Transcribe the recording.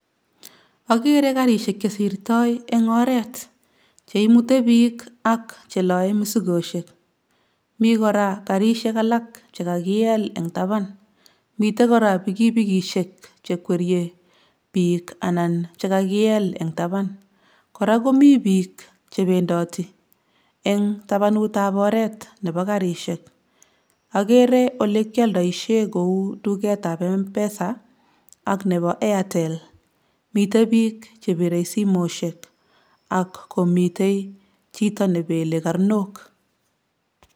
Okere garishek chesirtoo en oret cheimute biik ak cheloe mosikoshek, mii koraa garishek alak chekakiel en tapan, miten koraa pikipikiishe chekwerie biik anan chekakiel en tapan, koraa komii biik chebendoti en tapanut nebo oret nebo garishek, okere olekioldoishen kou tuketab M'PESA ak nebo Airtel miten bik chebire simoishek ak komiten chito nebele karnok.